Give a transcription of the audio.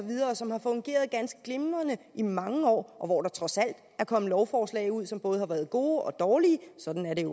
som har fungeret ganske glimrende i mange år og hvor der trods alt er kommet lovforslag ud som både har været gode og dårlige sådan er det